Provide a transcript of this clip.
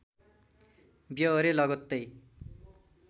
ब्यहोरे लगत्तै